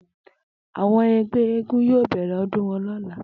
Àwo̩n e̩gbé̩ eégún yóò bè̩rè̩ o̩dún wo̩n ló̩la